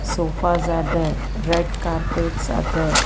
sofas are there red carpets are there.